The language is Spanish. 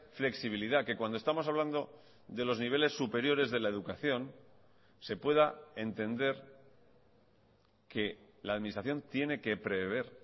flexibilidad que cuando estamos hablando de los niveles superiores de la educación se pueda entender que la administración tiene que prever